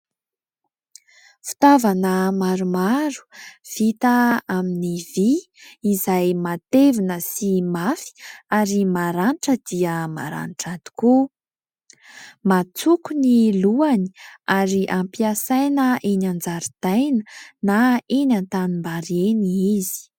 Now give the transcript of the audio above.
Fitaovana maromaro vita amin'ny vy izay matevina sy mafy ary maranitra dia maranitra tokoa. Matsoko ny lohany ary ampiasaina eny an-jaridaina na eny an-tanimbary eny izy.